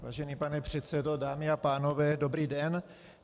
Vážený pane předsedo, dámy a pánové, dobrý den.